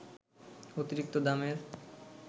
অতিরিক্ত দামের